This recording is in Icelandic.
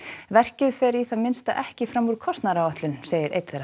verkið fer í það minnsta ekki fram úr kostnaðaráætlun segir einn þeirra